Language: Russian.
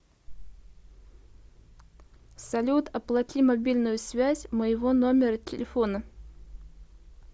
салют оплати мобильную связь моего номера телефона